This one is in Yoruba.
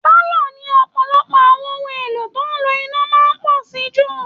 Pálọ̀ ni ọ̀pọ̀lọpọ̀ àwọn ohun èlò tó ń lo iná máa ń pọ̀ sí jù